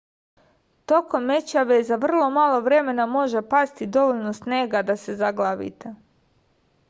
tokom mećave za vrlo malo vremena može pasti dovoljno snega da se zaglavite